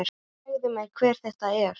Segðu mér, hver er þetta?